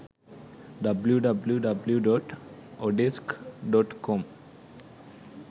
www.odesk.com